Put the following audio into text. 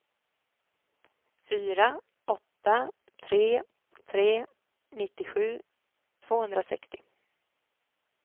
fyra åtta tre tre nittiosju tvåhundrasextio